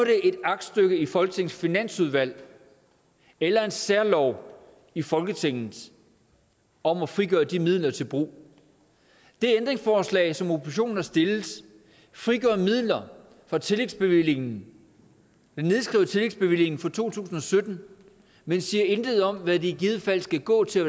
et aktstykke i folketingets finansudvalg eller en særlov i folketinget om at frigøre de midler til brug det ændringsforslag som oppositionen har stillet frigør midler fra tillægsbevillingen det nedskriver tillægsbevillingen for to tusind og sytten men siger intet om hvad de i givet fald skal gå til